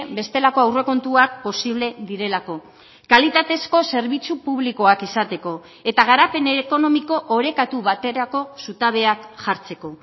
bestelako aurrekontuak posible direlako kalitatezko zerbitzu publikoak izateko eta garapen ekonomiko orekatu baterako zutabeak jartzeko